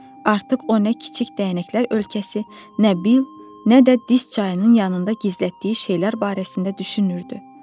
Artıq o nə kiçik dəyənəklər ölkəsi, nə bil, nə də diz çayının yanında gizlətdiyi şeylər barəsində düşünürdü.